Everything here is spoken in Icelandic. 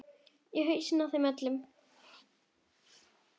Í hausana á þeim öllum.